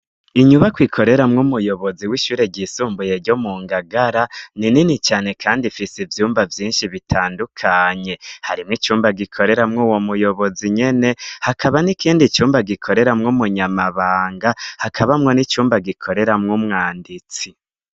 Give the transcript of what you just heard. Inyubakwa ikoreramwo umuyobozi w'ishure ryisumbuye ryo mu ngagara ,ni nini cane kandi ifise ivyumba vyinshi bitandukanye, harimwo icumba gikoreramwo uwo muyobozi nyene hakaba n'ikindi cumba gikoreramwo umunyamabanga, hakabamwo n'icumba gikoreramwo umwanditsi.